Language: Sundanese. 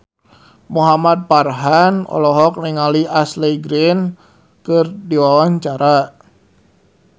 Muhamad Farhan olohok ningali Ashley Greene keur diwawancara